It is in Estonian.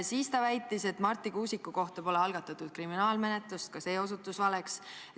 Siis väitis ta, et Marti Kuusiku kohta pole algatatud kriminaalmenetlust – ka see osutus valeks.